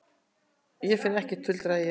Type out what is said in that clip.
Ég finn ekkert, tuldraði ég.